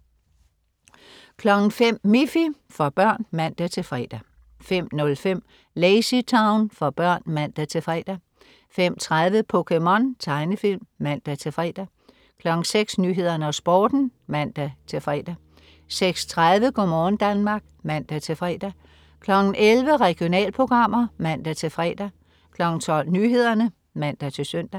05.00 Miffy. For børn (man-fre) 05.05 LazyTown. For børn (man-fre) 05.30 POKéMON. Tegnefilm (man-fre) 06.00 Nyhederne og Sporten (man-fre) 06.30 Go' morgen Danmark (man-fre) 11.00 Regionalprogrammer (man-fre) 12.00 Nyhederne (man-søn)